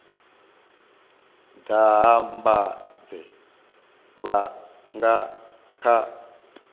daha mbanzhe vha nga kha